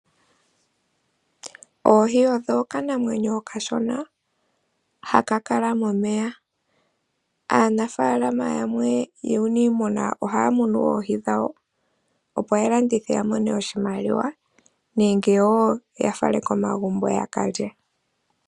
Ohi oyo okanamwenyo okashona haka kala momeya. Aanafaalama yamwe yuuniimuna ohaya munu oohi dhawo. Opo ya landithe ya mone oshimaliwa nenge wo ya fale komagumbo ya ka lye.